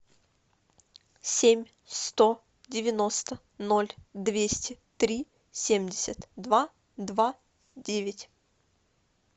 семь сто девяносто ноль двести три семьдесят два два девять